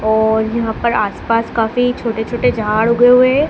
और यहां पर आस पास काफी छोटे छोटे झाड़ उगे हुए--